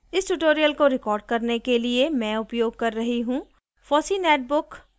इस tutorial को record करने के लिए मैं उपयोग कर रही हूँ